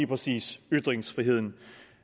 præcis ytringsfriheden